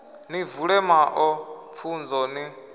ni vule maṱo pfunzo ni